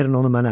Verin onu mənə.